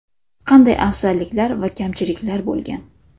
Qanday afzalliklar va kamchiliklar bo‘lgan?